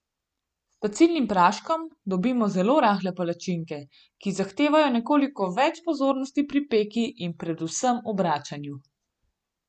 S pecilnim praškom dobimo zelo rahle palačinke, ki zahtevajo nekoliko več pozornosti pri peki in predvsem obračanju.